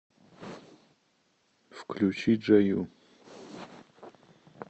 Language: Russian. включи джаю